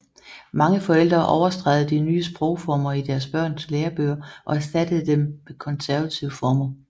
Mange forældre overstregede de nye sprogformer i deres børns lærebøger og erstattede dem med konservative former